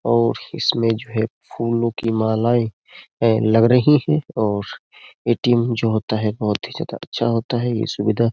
और इसमें जो है फूलों की मालाएं लग रही हैं और एटीएम जो होता है बहुत ही ज्यादा अच्छा होता है ये सुविधा।